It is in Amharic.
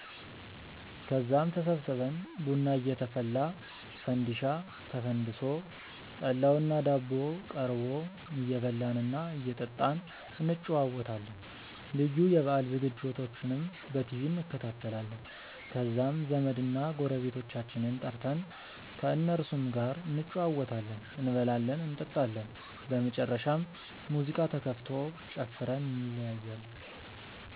ከዛም ተሰብስበን ቡና እየተፈላ፣ ፈንዲሻ ተፈንድሶ፣ ጠላውና ዳቦው ቀርቦ እየበላን እና እየጠጣን እንጨዋወታለን። ልዩ የበአል ዝግጅቶችንም በቲቪ እንከታተላለን። ከዛም ዘመድና ጎረቤቶቻችንን ጠርተን ከእነሱም ጋር እንጨዋወታለን፤ እንበላለን እንጠጣለን። በመጨረሻም ሙዚቃ ተከፍቶ ጨፍረን እንለያያለን።